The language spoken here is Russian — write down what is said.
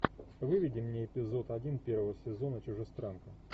выведи мне эпизод один первого сезона чужестранка